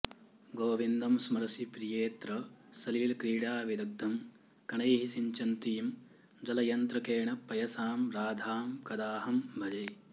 गोविन्दं सरसि प्रियेऽत्र सलिलक्रीडाविदग्धं कणैः सिञ्चन्तीं जलयन्त्रकेण पयसां राधां कदाहं भजे